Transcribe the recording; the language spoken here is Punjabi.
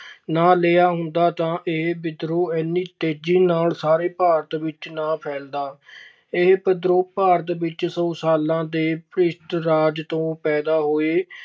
ਨਾ ਲਿਆ ਹੁੰਦਾ ਤਾਂ ਇਹ ਵਿਦਰੋਹ ਇੰਨੀ ਤੇਜ਼ੀ ਨਾਲ ਸਾਰੇ ਭਾਰਤ ਵਿੱਚ ਨਾ ਫੈਲਦਾ। ਇਹ ਵਿਦਰੋਹ ਭਾਰਤ ਵਿੱਚ ਸੌ ਸਾਲਾਂ ਦੇ ਭ੍ਰਿਸ਼ਟ ਰਾਜ ਤੋਂ ਪੈਦਾ ਹੋਏ